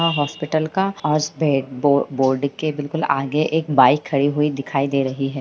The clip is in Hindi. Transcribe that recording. हाँ हॉस्पिटल का आज बोर्ड के बिल्कुल आगे एक बाइक खड़ी हुई दिखाई दे रही है।